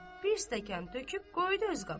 Bir stəkan töküb qoydu öz qabağına.